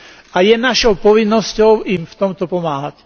A je našou povinnosťou im v tomto pomáhať.